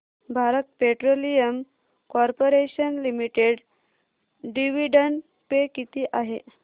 Bharat Petroleum Corporation Limited dividend pay किती आहे